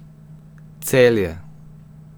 Celje.